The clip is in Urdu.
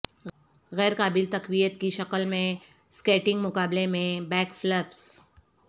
غیر قابل تقویت کی شکل میں سکیٹنگ مقابلہ میں بیکفلپس